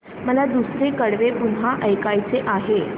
मला दुसरं कडवं पुन्हा ऐकायचं आहे